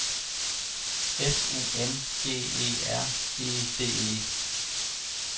F U N G E R E D E